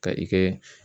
Ka i kɛ